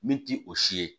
Min ti o si ye